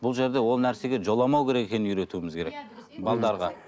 бұл жерде ол нәрсеге жоламау керек екенін үйретуіміз керек